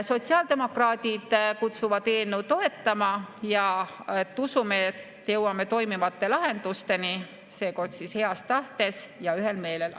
Sotsiaaldemokraadid kutsuvad eelnõu toetama ja usume, et jõuame toimivate lahendusteni seekord heas tahtes ja ühel meelel.